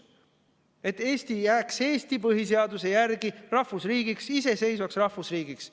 et Eesti jääks Eesti põhiseaduse järgi rahvusriigiks, iseseisvaks rahvusriigiks.